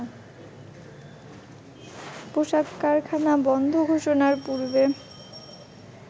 পোশাক কারখানা বন্ধ ঘোষণার পূর্বে